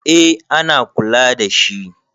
eh ana kula da shi